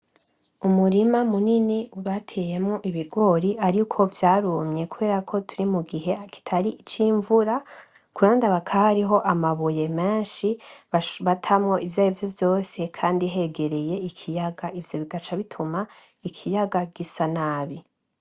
Umurima munini bateyemwo ibigori ariko vyarumye kubera ko turi mu gihe kitari ic'imvura, ku ruhande hakaba hariho amabuye menshi batamwo ivyarivyo vyose kandi hegereye ikiyaga, ivyo bigaca bituma ikiyaga gisa nabi.